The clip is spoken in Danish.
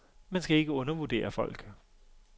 Man skal ikke undervurdere folk.